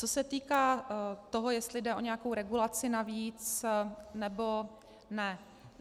Co se týká toho, jestli jde o nějakou regulaci navíc, nebo ne.